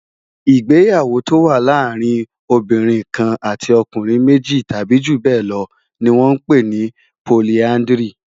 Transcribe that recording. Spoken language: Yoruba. Igbéyàwó tó wà làárin óbìrín kán àtí òkúnrin méji tàbi júbèlò ni wòn mà n pé ni pólìàndrí